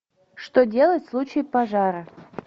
что делать в случае пожара